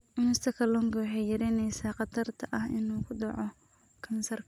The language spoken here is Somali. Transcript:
Cunista kalluunka waxay yaraynaysaa khatarta ah inuu ku dhaco kansarka.